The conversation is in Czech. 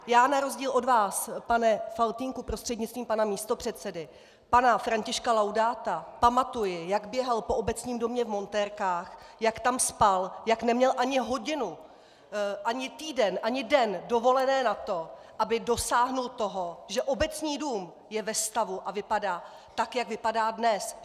Já na rozdíl od vás, pane Faltýnku prostřednictvím pana místopředsedy, pana Františka Laudáta pamatuji, jak běhal po Obecním domě v montérkách, jak tam spal, jak neměl ani hodinu, ani týden, ani den dovolené na to, aby dosáhl toho, že Obecní dům je ve stavu a vypadá tak, jak vypadá dnes!